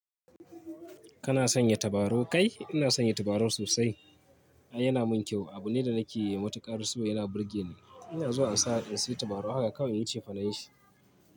Kana sanya tabarau kai? Ina sanya tabarau sosai. Ai yana mun kyau. Abu ne da nake yi matuƙar so yana burge ni. Ina zuwa ansa in sayi tabarau. Haka kawai nayi cefa nan shi.